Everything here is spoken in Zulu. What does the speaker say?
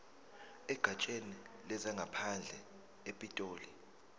egatsheni lezangaphandle epitoli